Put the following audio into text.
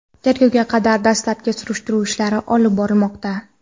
tergovga qadar dastlabki surishtiruv ishlari olib borilmoqda.